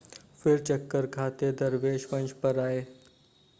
फिर चक्कर खाते दरवेश मंच पर आए